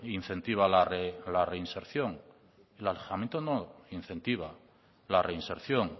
incentiva la reinserción el alejamiento no incentiva la reinserción